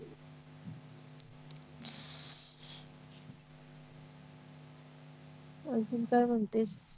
अजून काय म्हणतेस